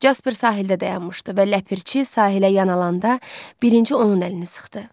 Casper sahildə dayanmışdı və Ləpirçi sahilə yan alanda birinci onun əlini sıxdı.